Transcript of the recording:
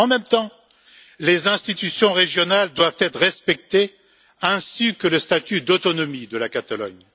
En même temps, les institutions régionales doivent être respectées, ainsi que le statut d'autonomie de la Catalogne.